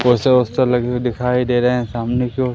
poster लगे हुए दिखाई दे रहे हैं सामने की ओर--